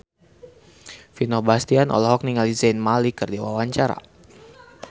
Vino Bastian olohok ningali Zayn Malik keur diwawancara